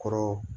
Kɔrɔ